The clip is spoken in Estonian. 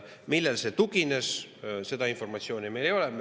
Millele see tugines, seda informatsiooni meil ei ole.